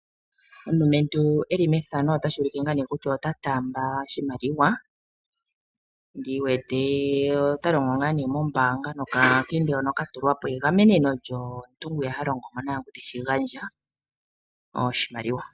Omulumentu eli methano otashi ulike ngaa nee kutya ota taamba oshimaliwa ndi wete ota longo ngaa nee mombaanga nokakende hoka ka tulwa po egameneno lyomuntu gwiya ha longo mo naangu teshi gandja oshimaliwa.